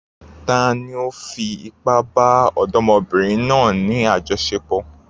Tani ó fi ipá bá ọ̀dọ́mọbìnrin náà ní àjọṣepọ̀?